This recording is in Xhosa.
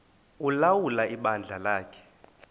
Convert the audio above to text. ulawula ibandla lakhe